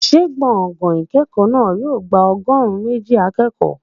Ṣé gbọ̀ngàn ìkẹ́kọ̀ọ́ náà yóò gba ọgọ́rùn-ún méjì akẹ́kọ̀ọ́?